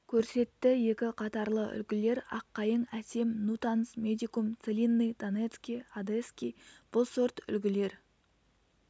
көрсетті екі қатарлы үлгілер аққайың әсем нутанс медикум целинный донецкий одесский бұл сорт үлгілер